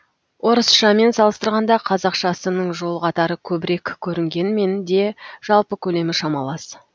орысшамен салыстырғанда қазақшасының жол қатары көбірек көрінгенмен де жалпы көлемі шамалас